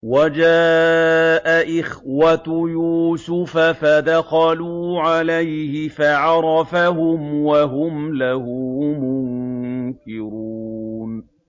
وَجَاءَ إِخْوَةُ يُوسُفَ فَدَخَلُوا عَلَيْهِ فَعَرَفَهُمْ وَهُمْ لَهُ مُنكِرُونَ